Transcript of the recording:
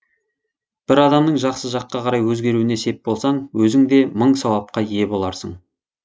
бір адамның жақсы жаққа қарай өзгеруіне сеп болсаң өзің де мың сауапқа ие боларсың